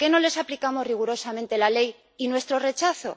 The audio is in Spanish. ¿Por qué no les aplicamos rigurosamente la ley y nuestro rechazo?